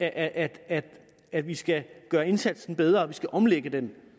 at at vi skal gøre indsatsen bedre og omlægge den